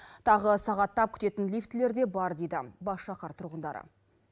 тағы сағаттап күтетін лифтілер де бар дейді бас шаһар тұрғындары